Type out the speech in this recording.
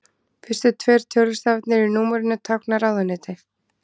Fyrstu tveir tölustafirnir í númerinu tákna ráðuneyti.